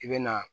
I bɛ na